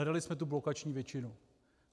Hledali jsme tu blokační většinu.